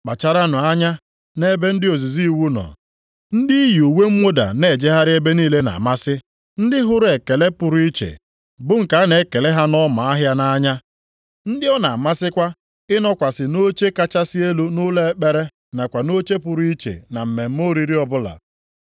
“Kpacharanụ anya nʼebe ndị ozizi iwu nọ. Ndị iyi uwe mwụda na-ejegharị ebe niile na-amasị, ndị hụrụ ekele pụrụ iche bụ nke a na-ekele ha nʼọma ahịa nʼanya. Ndị ọ na-amasịkwa ịnọkwasị nʼoche kachasị elu nʼụlọ ekpere nakwa nʼoche pụrụ iche na mmemme oriri ọbụla.